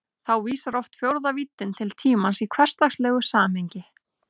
Þá vísar oft fjórða víddin til tímans í hversdagslegu samhengi.